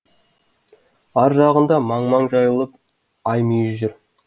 ар жағында маң маң жайылып аймүйіз жүр